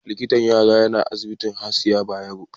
Likitan yara yana asibitin Hasiya Bayero.